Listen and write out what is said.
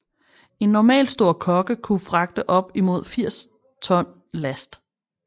En normalstor kogge kunne fragte op imod 80 ton last